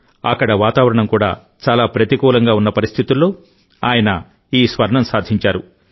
అక్కడ వాతావరణం కూడా చాలా ప్రతికూలంగా ఉన్న పరిస్థితుల్లో ఆయన ఈ స్వర్ణం సాధించారు